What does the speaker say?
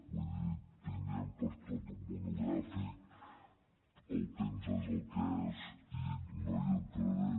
vull dir en tindríem per a tot un monogràfic el temps és el que és i no hi entraré